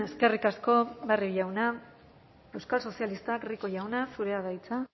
eskerrik asko barrio jauna euskal sozialistak rico jauna zurea da hitza